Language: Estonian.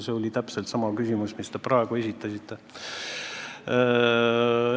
See oli täpselt sama küsimus, mille te praegu esitasite.